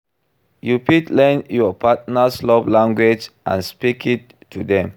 You fit learn your partner's love language and speak it to dem.